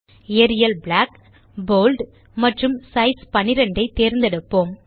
Ariel black bold மற்றும் size 12 ஐ தேர்ந்தெடுப்போம்